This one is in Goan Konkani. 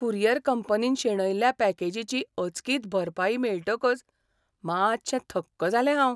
कुरियर कंपनीन शेणयल्ल्या पॅकेजीची अचकीत भरपाई मेळटकच मातशें थक्क जालें हांव.